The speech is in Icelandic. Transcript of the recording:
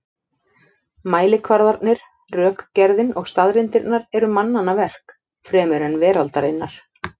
Mælikvarðarnir, rökgerðin og staðreyndirnar eru mannanna verk fremur en veraldarinnar.